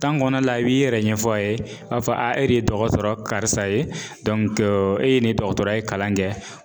kɔnɔn la i b'i yɛrɛ ɲɛfɔ a ye a b'a fɔ a e de ye dɔgɔtɔrɔ karisa ye e ye nin dɔgɔtɔrɔ ye kalan kɛ